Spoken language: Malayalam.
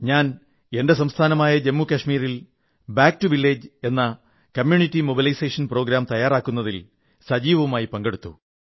ഞാൻ എന്റെ സംസ്ഥാനമായ ജമ്മു കശ്മീരിൽ back to village for community mobilisation പരിപാടി സംഘടിപ്പിക്കുന്നതിൽ സജീവമായി പങ്കെടുത്തു